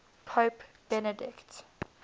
pope benedict